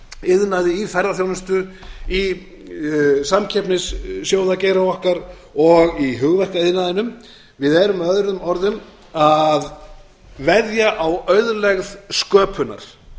iðnaði í ferðaþjónustu í samkeppnissjóðageira okkar og í hugverkaiðnaðinum við erum með öðrum orðum að veðja á auðlegð sköpunar